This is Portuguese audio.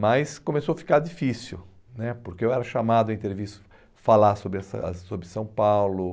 Mas começou a ficar difícil né, porque eu era chamado em entrevista falar sobre a ci ah sobre São Paulo.